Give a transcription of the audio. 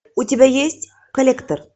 у тебя есть коллектор